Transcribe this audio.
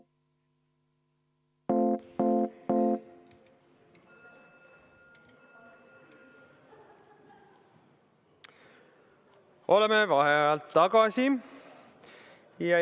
Oleme vaheajalt tagasi.